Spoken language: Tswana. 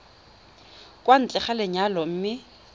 kwa ntle ga lenyalo mme